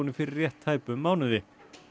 fyrir rétt tæpum mánuði